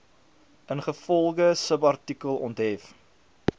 ingevolge subartikel onthef